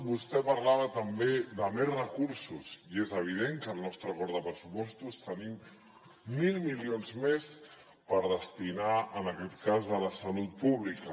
vostè parlava també de més recursos i és evident que al nostre acord de pressupostos tenim mil milions més per destinar en aquest cas a la salut pública